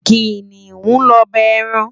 Kiniún lòbá èrán